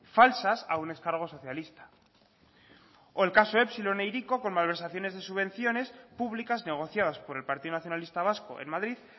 falsas a un ex cargo socialista o el caso epsilon e hiriko con malversaciones de subvenciones públicas negociadas por el partido nacionalista vasco en madrid